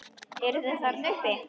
Eruð þið þarna uppi!